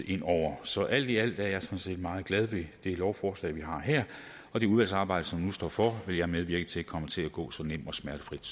ind over så alt i alt er jeg sådan set meget glad ved det lovforslag vi har her og det udvalgsarbejde som nu står for vil jeg medvirke til kommer til at gå så nemt og smertefrit